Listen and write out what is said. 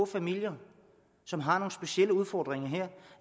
familier som har nogle specielle udfordringer